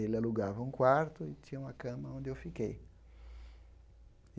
Ele alugava um quarto e tinha uma cama onde eu fiquei.